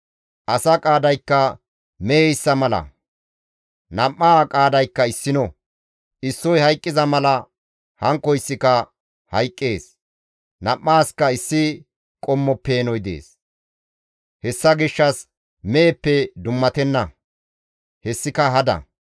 Asa qaadaykka meheyssa mala; nam7aa qaadaykka issino; issoy hayqqiza mala hankkoyssika hayqqees; nam7aaska issi qommo peenoy dees; hessa gishshas izi meheppe dummatenna; hessika hada.